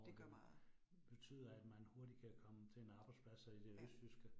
Og det betyder, at man hurtigt kan komme til en arbejdspladser i det østjyske